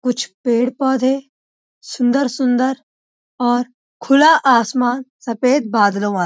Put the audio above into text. कुछ पेड़-पौधे सुंदर- सुंदर और खुला आसमान सफेद बादलों वाला --